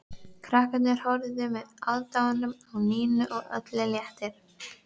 Krakkarnir horfðu með aðdáun á Nínu og öllum létti.